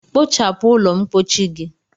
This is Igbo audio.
Kpochapu ụlọ mpochi gi!